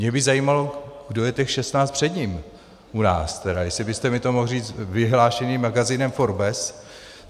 Mě by zajímalo, kdo je těch 16 před ním u nás tedy, jestli byste mi to mohl říct, vyhlášených magazínem Forbes.